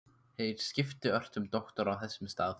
Þeir skiptu ört um doktora á þessum stað.